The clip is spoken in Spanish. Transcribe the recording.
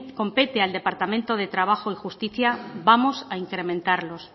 compete al departamento de trabajo y justicia vamos a incrementarlos